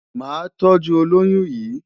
Màá tọ́jú olóyún yìí.